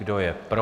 Kdo je pro?